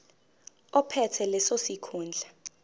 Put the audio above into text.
ophethe leso sikhundla